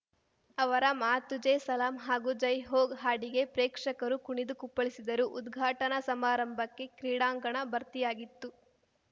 ಅವರ ಮಾ ತುಜೇ ಸಲಾಂ ಹಾಗೂ ಜೈ ಹೋ ಹಾಡಿಗೆ ಪ್ರೇಕ್ಷಕರು ಕುಣಿದು ಕುಪ್ಪಳಿಸಿದರು ಉದ್ಘಾಟನಾ ಸಮಾರಂಭಕ್ಕೆ ಕ್ರೀಡಾಂಗಣ ಭರ್ತಿಯಾಗಿತ್ತು